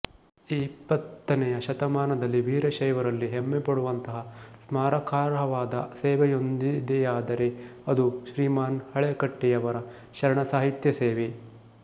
ಈ ಇಪ್ಪತ್ತನೆಯ ಶತಮಾನದಲ್ಲಿ ವೀರಶೈವರಲ್ಲಿ ಹೆಮ್ಮೆಪಡುವಂತಹ ಸ್ಮಾರಕಾರ್ಹವಾದ ಸೇವೆಯೊಂದಿದೆಯಾದರೆ ಅದು ಶ್ರೀಮಾನ್ ಹಳಕಟ್ಟಿಯವರ ಶರಣ ಸಾಹಿತ್ಯ ಸೇವೆ